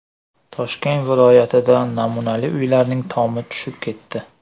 Toshkent viloyatida namunali uylarning tomi tushib ketdi.